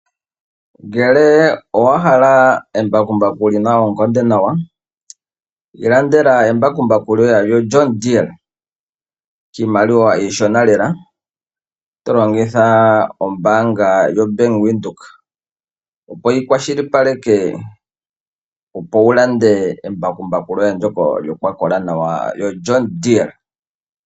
Ngele owahala embakumbaku lina oonkondo nawa ilandela embakumbaku lyoye lyoJohn Deere kiimaliwa iishona lela tolongitha ombaanga yoBank Windhoek opo yi kwashilipaleke opo wulande embakumbaku lyoye ndjoka lyakola nawa lyo Jkhn Deere.